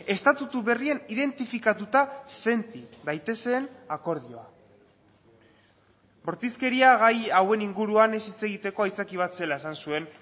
estatutu berrian identifikatuta senti daitezen akordioa bortizkeria gai hauen inguruan ez hitz egiteko aitzaki bat zela esan zuen